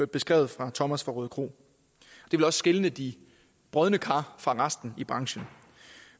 beskrevet af thomas fra rødekro det vil også skille de brodne kar fra resten i branchen